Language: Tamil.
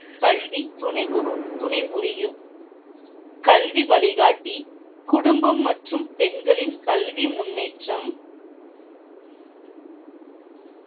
கல்வி துணைபுரியும் கல்வி வழிகாட்டி குடும்பம் மற்றும் பெண்களின் கல்வி முன்னேற்றம்.